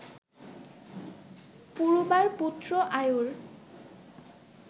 পুরুবার পুত্র আয়ুর